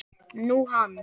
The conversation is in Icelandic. Nú, hann.